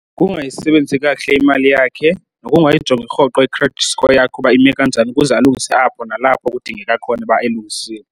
Kukungayisebenzisi kakuhle imali yakhe nokungayijongi rhoqo i-credit score yakhe uba ime kanjani ukuze alungise apho nalapho kudingeka khona uba elungisile.